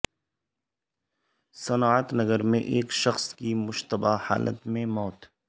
صنعت نگر میں ایک شخص کی مشتبہ حالت میں موت